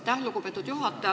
Aitäh, lugupeetud juhataja!